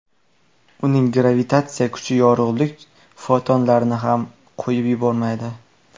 Uning gravitatsiya kuchi yorug‘lik fotonlarini ham qo‘yib yubormaydi.